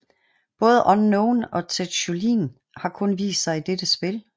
Både Unknown og Tetsujin har kun vist sig i dette spil